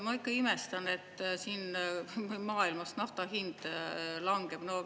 Ma ikka imestan, et siin maailmas nafta hind langeb.